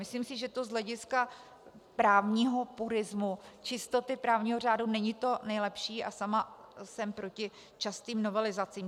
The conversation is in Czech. Myslím si, že to z hlediska právního purismu, čistoty právního řádu, není to nejlepší, a sama jsem proti častým novelizacím.